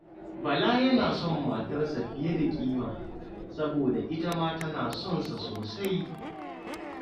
Bala yana son matarsa fiye da kima, saboda ita ma tana son sa sosai.